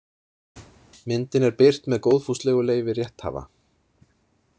Myndin er birt með góðfúslegu leyfi rétthafa.